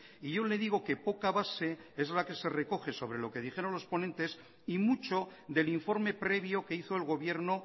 y yo le digo que poca base es la que se recoge sobre lo que dijeron los ponentes y mucho del informe previo que hizo el gobierno